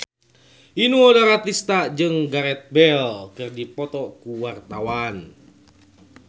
Inul Daratista jeung Gareth Bale keur dipoto ku wartawan